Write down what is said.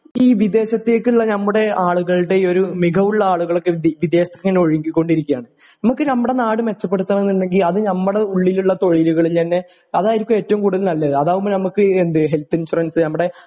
ഈ വിദേശത്തേക്കുള്ള നമ്മുടെ ആളുകലൂടെ ഒരു മികവുള്ള ആളുകളൊക്കെ വിദേശത്തേക്ക് ഇങ്ങനെ ഒഴുകി കൊണ്ടിരിക്കുകയാണ് നമ്മക്ക് നമ്മുടെ നാട് മെച്ചപ്പെടുത്തണമെന്നുണ്ടെങ്കില് അത് നമ്മുടെ ഉള്ളിലെ തൊഴിലുകള് തന്നെ അതായിരിക്കും ഏറ്റവും കൂടുതൽ നല്ലത് അതാവുമ്പോ നമുക്ക് എന്ത് ഹെൽത്ത് ഇൻഷുറൻസ്